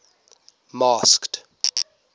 masked